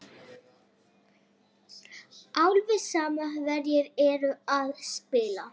Alveg sama hverjir eru að spila.